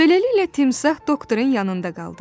Beləliklə, timsah doktorun yanında qaldı.